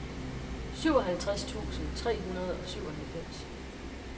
syvoghalvtreds tusind tre hundrede og syvoghalvfems